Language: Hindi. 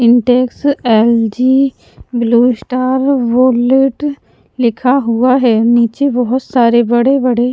Intex LG Blue Star wallet लिखा हुआ है नीचे बहुत सारे बड़े-बड़े--